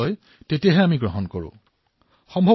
সেইবাবে আমি কেতিয়াবা নিজৰ শক্তিকেই বিশ্বাস নকৰো